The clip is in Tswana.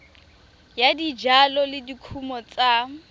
ya dijalo le dikumo tsa